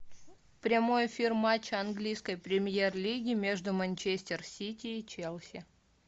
прямой эфир матча английской премьер лиги между манчестер сити и челси